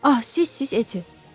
Ah, sizsiz, Etti.